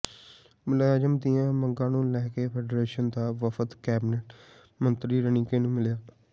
ਮੁਲਾਜ਼ਮਾਂ ਦੀਆਂ ਮੰਗਾਂ ਨੂੰ ਲੈ ਕੇ ਫੈਡਰੇਸ਼ਨ ਦਾ ਵਫ਼ਦ ਕੈਬਨਿਟ ਮੰਤਰੀ ਰਣੀਕੇ ਨੂੰ ਮਿਲਿਆ